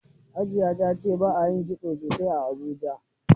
Hajiya ta ce ba a kitso sosaai a Abuja.